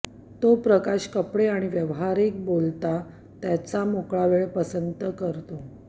तो प्रकाश कपडे आणि व्यावहारिक बोलता त्याच्या मोकळा वेळ पसंती करतो